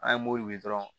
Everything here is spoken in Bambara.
An ye mobili dɔrɔn